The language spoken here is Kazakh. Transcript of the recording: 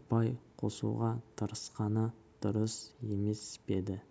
ұпай қосуға тырысқаны дұрыс емес пе еді